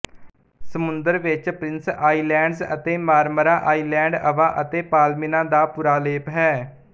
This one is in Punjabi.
ਸਮੁੰਦਰ ਵਿਚ ਪ੍ਰਿੰਸ ਆਈਲੈਂਡਜ਼ ਅਤੇ ਮਾਰਮਾਰਾ ਆਈਲੈਂਡ ਅਵਾ ਅਤੇ ਪਾਲੀਮਿਨਾ ਦਾ ਪੁਰਾਲੇਪ ਹੈ